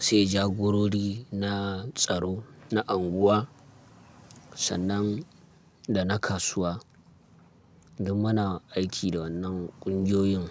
sai jagorori na tsaro na unguwa sannan da na kasuwa. Don muna aiki da wannan ƙungiyoyin.